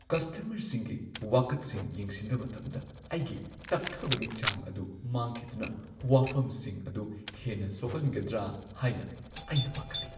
ꯀꯁꯇꯃꯔꯁꯤꯡꯒꯤ ꯋꯥꯀꯠꯁꯤꯡ ꯌꯦꯡꯁꯤꯟꯕ ꯃꯇꯝꯗ ꯑꯩꯒꯤ ꯇꯞꯊꯕꯒꯤ ꯆꯥꯡ ꯑꯗꯨ ꯃꯥꯡꯈꯤꯗꯨꯅ ꯋꯥꯐꯝꯁꯤꯡ ꯑꯗꯨ ꯍꯦꯟꯅ ꯁꯣꯛꯍꯟꯒꯗ꯭ꯔꯥ ꯍꯥꯏꯅ ꯑꯩꯅ ꯄꯥꯈꯠꯂꯤ ꯫